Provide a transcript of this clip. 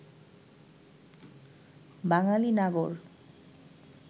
বাঙালি নাগর